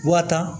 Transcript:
Wa tan